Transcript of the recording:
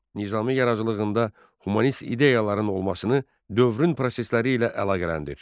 Nizami yaradıcılığında humanist ideyaların olmasını dövrün prosesləri ilə əlaqələndir.